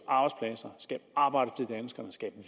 arbejde til danskerne skabe